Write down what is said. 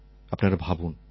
আপনারা ভাবুন